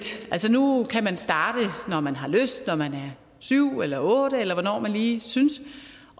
altså nu nu kan man starte når man har lyst når man er syv år eller otte år eller hvornår man lige synes